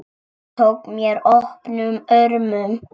Hún tók mér opnum örmum.